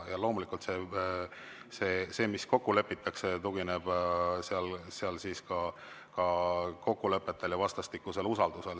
Ja loomulikult, see, mis seal kokku lepitakse, tugineb kokkulepetel ja vastastikusel usaldusel.